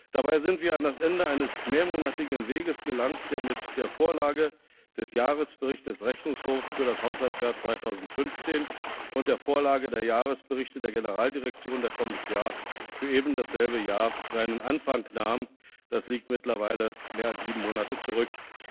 Dabei sind wir an das Ende eines mehrmonatigen Weges gelangt, der mit der Vorlage des Jahresberichts des Rechnungshofs für das Haushaltsjahr 2015 und der Vorlage der Jahresberichte der Generaldirektionen für eben dasselbe Jahr seinen Anfang nahm das liegt mittlerweile mehr als sieben Monate zurück.